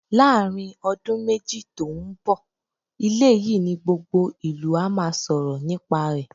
Láàárín ọdún méjì tó ń bọ̀, ilé yìí ni gbogbo ìlú á máa sọ̀rọ̀ nípa rẹ̀.